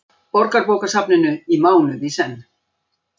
Borgarbókasafninu í mánuð í senn.